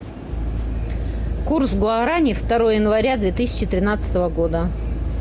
курс гуарани второе января две тысячи тринадцатого года